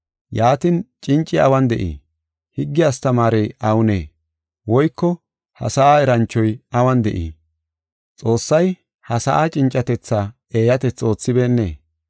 Yaatin, cinci awun de7ii? Higge astamaarey awunee? Woyko ha sa7a eranchoy awun de7ii? Xoossay ha sa7aa cincatetha eeyatethi oothibeennee?